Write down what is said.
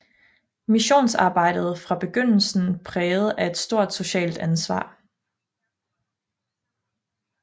Missionsarbejdet var fra begyndelsen præget af et stort socialt ansvar